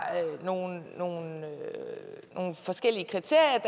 nogle nogle forskellige kriterier